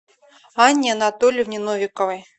анне анатольевне новиковой